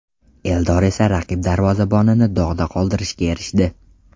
Eldor esa raqib darvozabonini dog‘da qoldirishga erishdi.